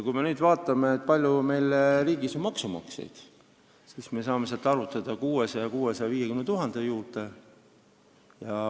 Kui me nüüd vaatame, kui palju meie riigis on maksumaksjaid, siis me saame vastuseks 600 000 – 650 000.